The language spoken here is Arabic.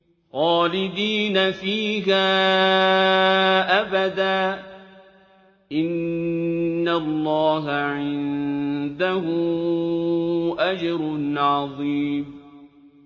خَالِدِينَ فِيهَا أَبَدًا ۚ إِنَّ اللَّهَ عِندَهُ أَجْرٌ عَظِيمٌ